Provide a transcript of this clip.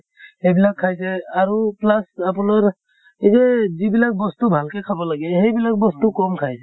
সেইবিলাক খাইছে আৰু plus আপোনাৰ এই যে যিবিলাক বস্তু ভালকে খাব লাগে, সেই বিলাক বস্তু কম খাইছে।